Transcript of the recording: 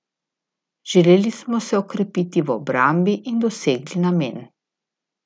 Želeli smo se okrepiti v obrambi in dosegli namen.